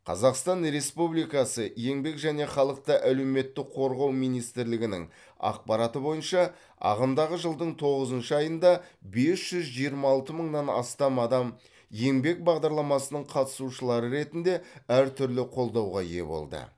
қазақстан республикасы еңбек және халықты әлеуметтік қорғау министрлігінің ақпараты бойынша ағымдағы жылдың тоғызыншы айында бес жүз жиырма алты мыңнан астам адам еңбек бағдарламасының қатысушылары ретінде әр түрлі қолдауға ие болды